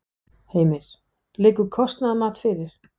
Heimir: Liggur kostnaðarmat fyrir?